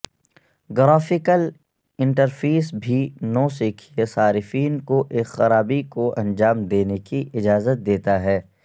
graphical interface بھی نوسکھئیے صارفین کو ایک خرابی کو انجام دینے کی اجازت دیتا ہے